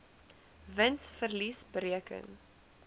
wins verlies bereken